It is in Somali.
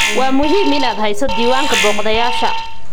Waa muhiim inaad hayso diiwaanka booqdayaasha.